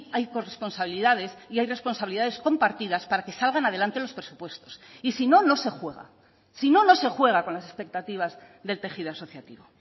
hay corresponsabilidades y hay responsabilidades compartidas para que salgan adelante los presupuestos y si no no se juega si no no se juega con las expectativas del tejido asociativo